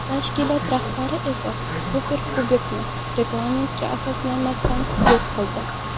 Tashkilot rahbari esa Superkubokni reglamentga asoslanmasdan yo‘q qildi.